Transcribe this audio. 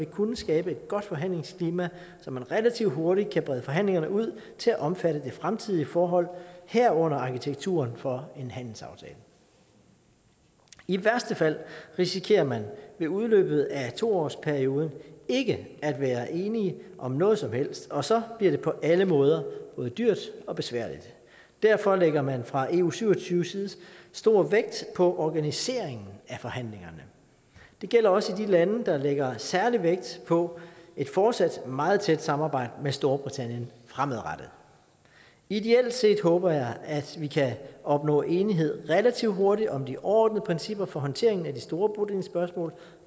kunne skabe et godt forhandlingsklima så man relativt hurtigt kan brede forhandlingerne ud til at omfatte det fremtidige forhold herunder arkitekturen for en handelsaftale i værste fald risikerer man ved udløbet af to årsperioden ikke at være enige om noget som helst og så bliver det på alle måder både dyrt og besværligt derfor lægger man fra eu syv og tyve side stor vægt på organiseringen af forhandlingerne det gælder også for de lande der lægger særlig vægt på et fortsat meget tæt samarbejde med storbritannien fremadrettet ideelt set håber jeg at vi kan opnå enighed relativt hurtigt om de overordnede principper for håndteringen af de store bodelingsspørgsmål